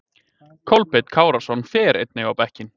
Kolbeinn Kárason fer einnig á bekkinn.